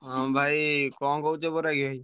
ହଁ ଭାଇ କଣ କହୁଛ ବୈରାଗି ଭାଇ?